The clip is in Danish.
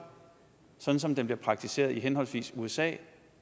sådan som den bliver praktiseret i henholdsvis usa